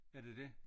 Er det dét?